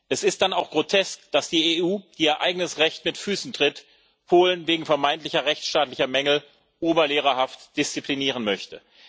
Es ist dann auch grotesk, dass die EU, die ihr eigenes Recht mit Füßen tritt, Polen wegen vermeintlicher rechtsstaatlicher Mängel oberlehrerhaft disziplinieren möchte.